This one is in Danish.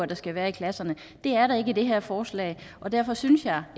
der skal være i klasserne det er der ikke i det her forslag og derfor synes jeg